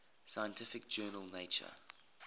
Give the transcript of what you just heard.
scientific journal nature